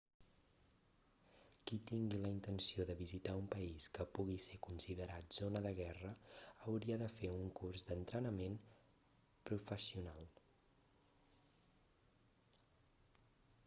qui tingui la intenció de visitar un país que pugui ser considerat zona de guerra hauria de fer un curs d'entrenament professional